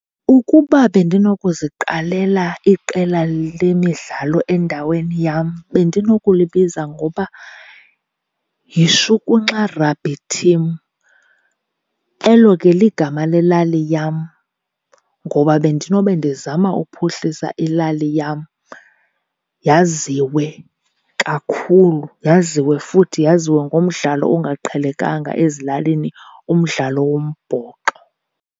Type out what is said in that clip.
Ukuba bendinokuziqalela iqela lemidlalo endaweni yam bendinokulibiza ngoba yiShukunxa Rugby Team. Elo ke ligama lelali yam, ngoba bendinobe ndizama uphuhlisa ilali yam yaziwe kakhulu, yaziwe futhi yaziwe ngomdlalo ongaqhelekanga ezilalini, umdlalo wombhoxo.